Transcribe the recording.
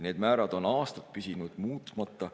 Need määrad on aastaid püsinud muutmata …